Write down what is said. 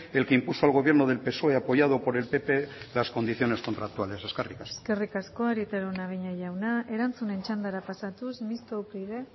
el que impuso al gobierno del psoe apoyado por el pp las condiciones contractuales eskerrik asko eskerrik asko arieta araunabeña jauna erantzunen txandara pasatuz mistoa upyd